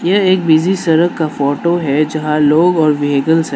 ये एक बिजी सरक का फोटो है जहाँ लोग और व्हेइकल्स है।